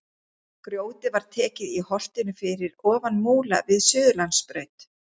Grjótið var tekið í holtinu fyrir ofan Múla við Suðurlandsbraut.